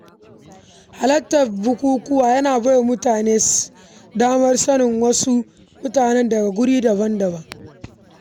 Halartar bukukuwa yana bai wa mutum damar sanin sababbin mutane daga wurare daban-daban.